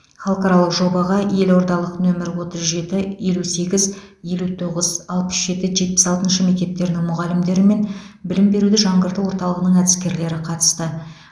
халықаралық жобаға елордалық нөмірі отыз жеті елу сегіз елу тоғыз алпыс жеті жетпіс алтыншы мектептерінің мұғалімдері мен білім беруді жаңғырту орталығының әдіскерлері қатысты